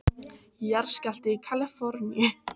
Jarðskjálfti í Kalíforníu